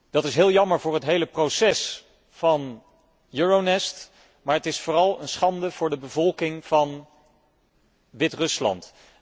Dat is heel jammer voor het hele proces van Euronest, maar het is vooral een schande voor de bevolking van Wit Rusland.